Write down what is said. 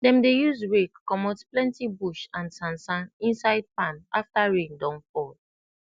dem dey use rake comot plenti bush and sansan inside farm afta rain don fall